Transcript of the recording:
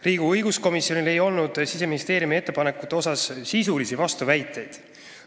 Riigikogu õiguskomisjonil ei olnud Siseministeeriumi ettepanekute kohta sisulisi vastuväiteid.